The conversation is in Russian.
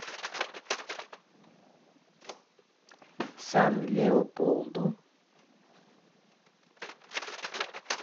сан леополду